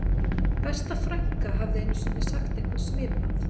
Besta frænka hafði einu sinni sagt eitthvað svipað